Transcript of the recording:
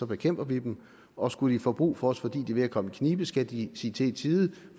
bekæmper vi dem og skulle de få brug for os fordi de er ved at komme i knibe skal de sige til i tide